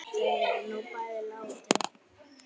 Þau eru nú bæði látin.